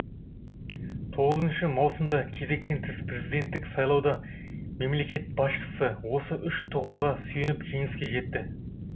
тоғызыншы маусымда өткен кезектен тыс президенттік сайлауда мемлекет басшысы осы үш тұғырға сүйеніп жеңіске жетті